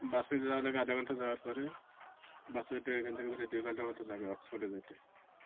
বাসে যাওয়ার আগে আধা ঘন্টা। যাওয়ার পরে বাস এ উঠে এখান থাকে বের হইতে দুই ঘন্টার মতো লাগে oxford এ যাইতে।